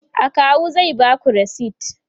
akawu zai Baku resit